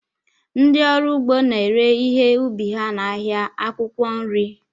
Ndị ọrụ ugbo na-ere ihe ubi ha n'ahịa akwụkwọ nri